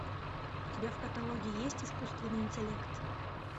у тебя в каталоге есть искусственный интеллект